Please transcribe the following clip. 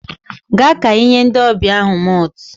Gaa ka ị nye ndị ọbịa ahụ malt